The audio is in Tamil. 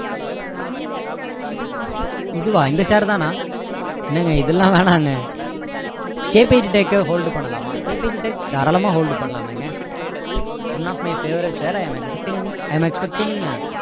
இதுவா இந்த share தானா என்னங்க இதெல்லாம் வேணாங்க KPG tech hold பண்ணலாமா KPG tech தாராளமா hold பண்ணலாமேங்க one of my favourite share i am expecting i am expecting